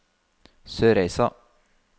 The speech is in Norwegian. Sørreisa